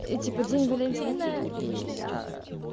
и типа день валентина и